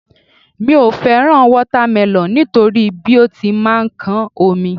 Mi ò fẹ́ràn wátámẹlọ̀ nítorí bí ó ti máa ń kán omi